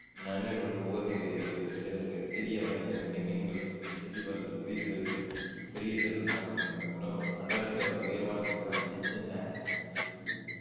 நன்னீர் மற்றும் உவர்நீர் சிரியவகை மீன் செம்மீன்கள் கிரிவல் கிரில்கள் பெரிய திரள் காணப்படுகின்றன உணவுகள் அண்டார்டிகாவில் உயரமான சிகரம் வின்சன் மாஸிப் இது வந்து